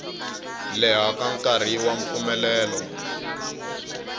leha ka nkarhi wa mpfumelelo